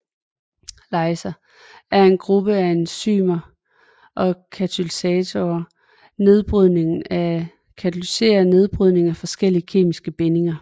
Lyaser er en gruppe af enzymer der katalyserer opbrydning af forskellige kemiske bindinger